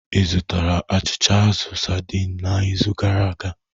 Ị zụtara achịcha azụ saidin n'izu gara aga?